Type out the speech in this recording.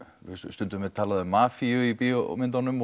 stundum er talað um mafíu í bíómyndunum